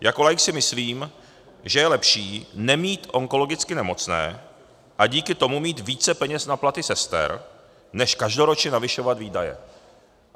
Jako laik si myslím, že je lepší nemít onkologicky nemocné a díky tomu mít více peněz na platy sester, než každoročně navyšovat výdaje.